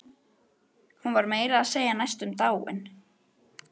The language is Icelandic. Hún var meira að segja næstum dáin.